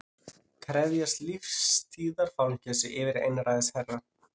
Krefjast lífstíðarfangelsis yfir einræðisherra